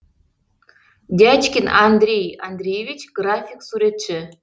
дячкин андрей андреевич график суретші